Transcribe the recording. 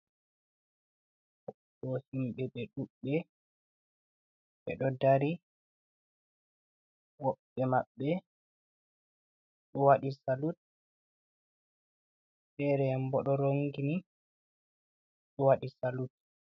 Ɗo himɓe ɓe ɗuɓɓe. Ɓe ɗo ɗari, woɓɓe maɓbe ɓe ɗo waɗi salut, ɓeyean ɓo ɗo rongini ɗo waɗi salut.